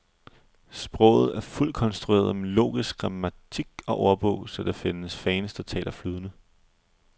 Sproget er fuldt konstrueret med logisk grammatik og ordbog, så der findes fans, der taler det flydende.